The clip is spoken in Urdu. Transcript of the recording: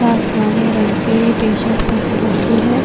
آسمانی رنگ کی ٹ-شرط پہن رکھی ہے۔